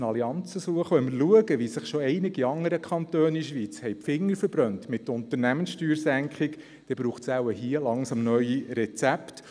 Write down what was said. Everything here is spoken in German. Wir müssen Allianzen suchen, und wenn wir schauen, wie sich schon einige andere Kantone in der Schweiz mit einer Unternehmenssteuersenkung die Finger verbrannt haben,